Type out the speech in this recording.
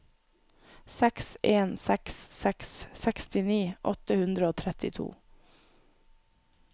seks en seks seks sekstini åtte hundre og trettito